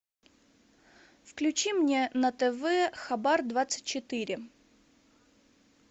включи мне на тв хабар двадцать четыре